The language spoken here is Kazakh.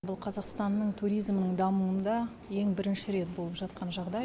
бұл қазақстанның туризмінің дамуында ең бірінші рет болып жатқан жағдай